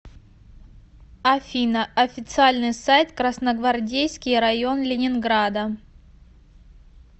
афина официальный сайт красногвардейский район ленинграда